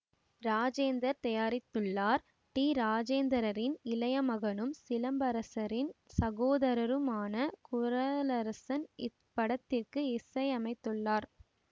ராஜேந்தர் தயாரித்துள்ளார் டி ராஜேந்தரரின் இளைய மகனும் சிலம்பரசனின் சகோதரருமான குரளரசன் இப்படத்திற்கு இசையமைத்துள்ளார்